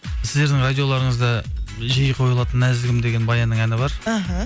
сіздердің радиоларыңызда жиі қойылатын нәзігім деген баянның әні бар іхі